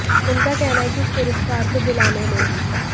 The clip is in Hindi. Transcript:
उनका कहना है कि इस पुरस्कार को दिलाने में